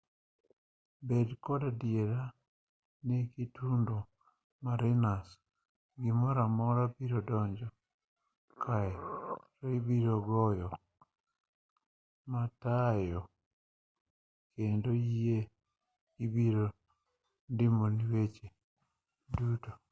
bed kod adiera ni kitundo marinas gimoramora biro donjo kare ibiroyudo jogo matayo yie kendo gibiro ndimoni weche duto